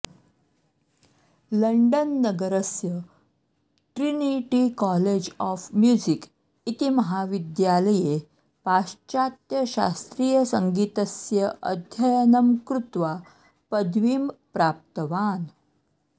London नगरस्य Trinity college of music इति महाविद्यालये पाश्चात्यशास्त्रीयसङ्गीतस्य अध्ययनं कृत्वा पदवीं प्राप्तवान्